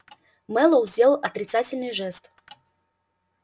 мэллоу сделал отрицательный жест